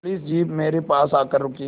police jeep मेरे पास आकर रुकी